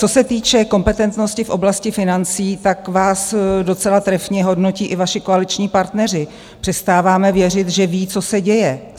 Co se týče kompetentnosti v oblasti financí, tak vás docela trefně hodnotí i vaši koaliční partneři: "Přestáváme věřit, že ví, co se děje.